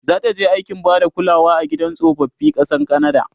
zataje aikin Bada kulawa a gidan tsofaffi ƙasar kanada?